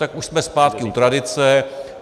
Tak už jsme zpátky u tradice.